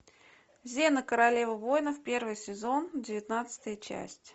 зена королева воинов первый сезон девятнадцатая часть